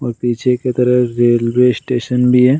और पीछे के तरफ से रेलवे स्टेशन भी है।